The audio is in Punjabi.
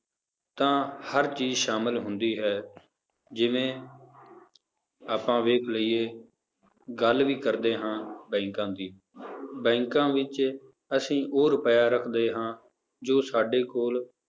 ਤਾਂ ਹਰ ਚੀਜ਼ ਸ਼ਾਮਲ ਹੁੰਦੀ ਹੈ, ਜਿਵੇਂ ਆਪਾਂ ਵੇਖ ਲਈਏ ਗੱਲ ਵੀ ਕਰਦੇ ਹਾਂ ਬੈਂਕਾਂ ਦੀ ਬੈਂਕਾਂ ਵਿੱਚ ਅਸੀਂ ਉਹ ਰੁਪਇਆ ਰੱਖਦੇ ਹਾਂ ਜੋ ਸਾਡੇ ਕੋਲ